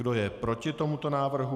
Kdo je proti tomuto návrhu?